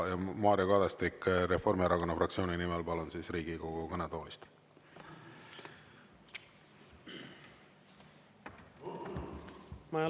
Mario Kadastik Reformierakonna fraktsiooni nimel, palun, Riigikogu kõnetoolist!